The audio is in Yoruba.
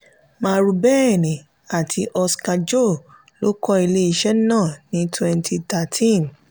marubeni àti oska-jo ló kọ́ ilé iṣẹ́ náà ní twenty thirteen.